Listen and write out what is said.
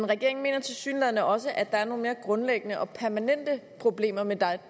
regeringen mener tilsyneladende også at der er nogle mere grundlæggende og permanente problemer med